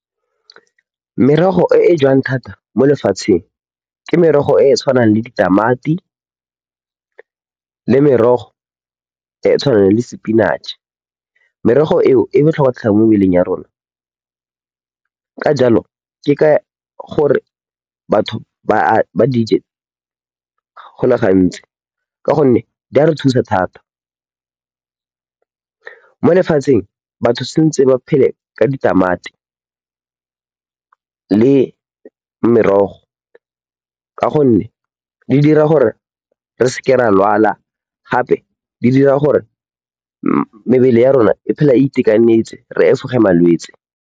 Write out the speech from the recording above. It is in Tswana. Merogo e e jewang thata mo lefatsheng ke merogo e e tshwanang le ditamati le merogo e e tshwanang le sepinatšhe. Merogo eo e botlhokwa thata mo mebeleng ya rona. Ka jalo, ke ka gore batho ba di je go le gantsi ka gonne di re thusa thata. Mo lefatsheng batho ba tshwanetse ba phele ka ditamati le merogo ka gonne di dira gore re se ke ra lwala gape di dira gore mebele ya rona e phele e itekanetse, re efoge malwetse.